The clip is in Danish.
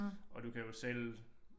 Og du kan jo selv